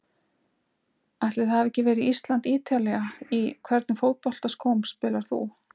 Ætli það hafi ekki verið Ísland-Ítalía Í hvernig fótboltaskóm spilar þú?